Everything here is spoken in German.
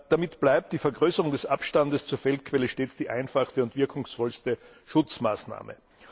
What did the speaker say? Damit bleibt die Vergrößerung des Abstandes zur Feldquelle stets die einfachste und wirkungsvollste Schutzmaßnahme.